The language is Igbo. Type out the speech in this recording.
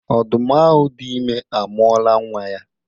Ọdụm ahụ dị ime amụọla nnwa ya